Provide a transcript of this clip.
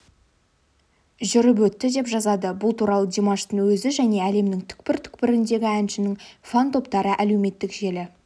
жүріп өтті деп жазады бұл туралы димаштың өзі және әлемнің түкпір-түкпіріндегі әншінің фан-топтары әлеуметтік желі